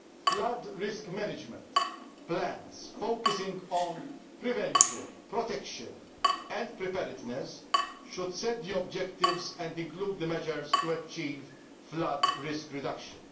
Flood risk management plans focusing on prevention, protection and preparedness should set the objectives and include the measures to achieve flood risk reduction.